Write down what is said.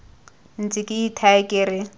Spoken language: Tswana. ntse ke ithaya ke re